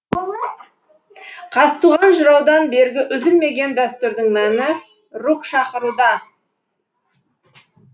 қазтуған жыраудан бергі үзілмеген дәстүрдің мәні рух шақыруда